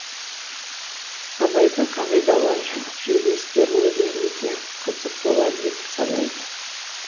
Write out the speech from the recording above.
абайдың қағидалары жерлестеріне де өте қызық болар деп санайды